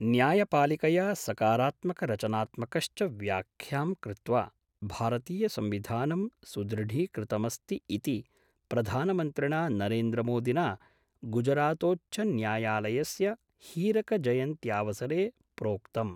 न्यायपालिकया सकारात्मकरचनात्मकश्च व्याख्यां कृत्वा भारतीयसंविधानं सुदृढीकृतमस्ति इति प्रधानमन्त्रिणा नरेन्द्रमोदिना गुजरातोच्चन्यायालयस्य हीरकजयन्त्यावसरे प्रोक्तम्।